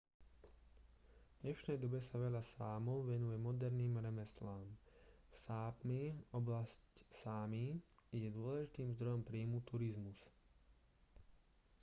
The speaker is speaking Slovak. v dnešnej dobe sa veľa sámov venuje moderným remeslám v sápmi oblasť sámi je dôležitým zdrojom príjmu turizmus